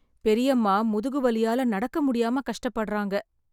பெரியம்மா முதுகு வலியால நடக்க முடியாம கஷ்ட படறாங்க.